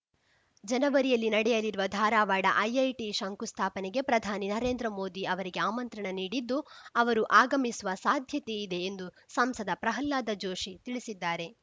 ಜನವರಿಯಲ್ಲಿ ನಡೆಯಲಿರುವ ಧಾರವಾಡ ಐಐಟಿ ಶಂಕುಸ್ಥಾಪನೆಗೆ ಪ್ರಧಾನಿ ನರೇಂದ್ರ ಮೋದಿ ಅವರಿಗೆ ಆಮಂತ್ರಣ ನೀಡಿದ್ದು ಅವರು ಆಗಮಿಸುವ ಸಾಧ್ಯತೆ ಇದೆ ಎಂದು ಸಂಸದ ಪ್ರಹ್ಲಾದ ಜೋಶಿ ತಿಳಿಸಿದ್ದಾರೆ